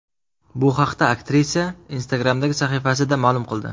Bu haqda aktrisa Instagram’dagi sahifasida ma’lum qildi .